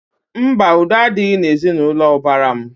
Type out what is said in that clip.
Mba, udo adịghị n'ezinaụlọ ụbara m